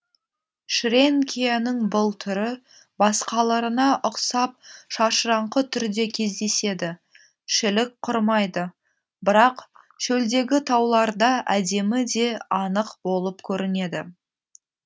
шренкияның бұл түрі басқаларына ұқсап шашыраңқы түрде кездеседі шілік құрмайды бірақ шөлдегі тауларда әдемі де анық болып көрінеді